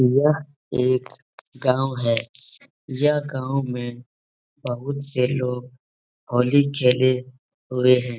यह एक गाँव है। यह गाँव में बहुत से लोग होली खेले हुए हैं।